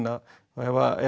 ef